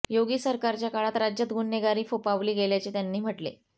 योगी सरकारच्या काळात राज्यात गुन्हेगारी फोफावली गेल्याचे त्यांनी म्हटले